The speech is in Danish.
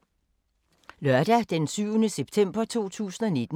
Lørdag d. 7. september 2019